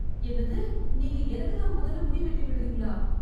என்னது, நீங்க எனக்குத் தான் முதல்ல முடி வெட்டி விடுறீங்களா?